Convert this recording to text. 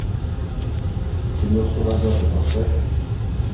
кино суррогаты поставь